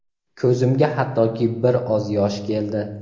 ko‘zimga hattoki bir oz yosh keldi.